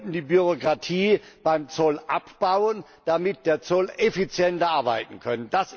Wir wollten die Bürokratie beim Zoll abbauen, damit der Zoll effizienter arbeiten kann.